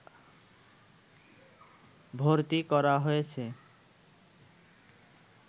ভর্তি করা হয়েছে